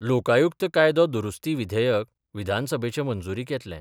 लोकायुक्त कायदो दुरुस्ती विधेयक विधानसभेचे मंजूरीक येतलें.